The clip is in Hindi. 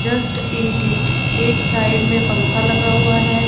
जस्ट इट इट एक साइड में पंख लगा हुआ है।